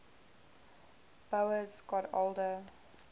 boas got older